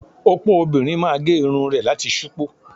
Opo obìnrin máa gé irun rẹ̀ láti ṣupọ́.